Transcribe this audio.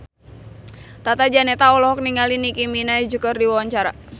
Tata Janeta olohok ningali Nicky Minaj keur diwawancara